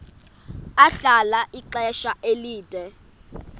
ahlala ixesha elide